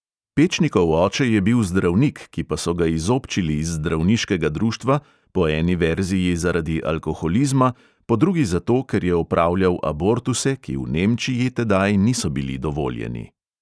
Pečnikov oče je bil zdravnik, ki pa so ga izobčili iz zdravniškega društva, po eni verziji zaradi alkoholizma, po drugi zato, ker je opravljal abortuse, ki v nemčiji tedaj niso bili dovoljeni.